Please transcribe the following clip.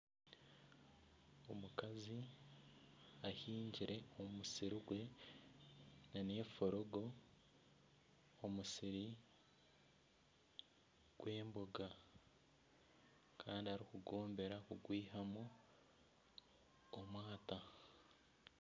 Omukazi ahingire omu musiri gwe nefurogo omusiri gw'emboga kandi arikugwombera kugwihamu omwata.